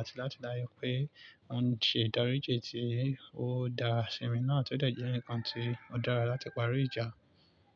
àti láti dá yé pé wọ́n ń ṣèdáríjì tí ó dá sí mi náà, tó dẹ̀ jẹ́ ǹkan tí ó dára láti parí ìjà.